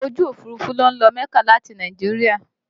Ọkọ̀ ojú Òfurufú ló ń lọ mẹ́kà láti Nàìjíríà